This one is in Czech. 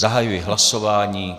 Zahajuji hlasování.